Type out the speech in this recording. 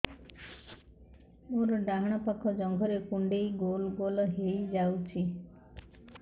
ମୋର ଡାହାଣ ପାଖ ଜଙ୍ଘରେ କୁଣ୍ଡେଇ ଗୋଲ ଗୋଲ ହେଇଯାଉଛି